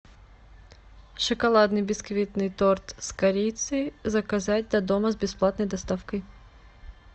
шоколадный бисквитный торт с корицей заказать до дома с бесплатной доставкой